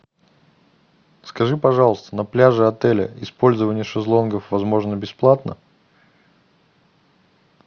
скажи пожалуйста на пляже отеля использование шезлонгов возможно бесплатно